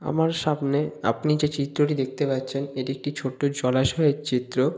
আমার সামনে আপনি যে চিত্রটি দেখতে পারছেন এটি একটি ছোট্ট জলাশয়ের চিত্র।